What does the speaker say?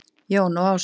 Jón og Ása.